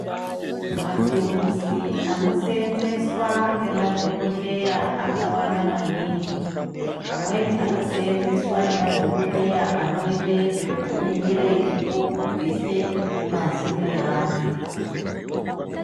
Matuluzi anosenzeswa ngemadhokoteya akawanda maningi amweni anoseenzeswa nemadhokotera anoite zvekuningire nekubvise mazino eandu.